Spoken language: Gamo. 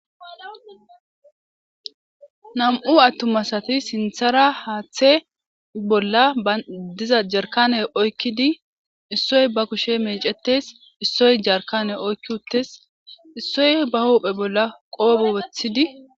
Nam'u attuma asati sinththara haaththe bolla diza jarkane oykkidi issoy ba kushe meecetes, issoy jarkane oykki uttis, issoy ba huphe bolla qobe woththidi..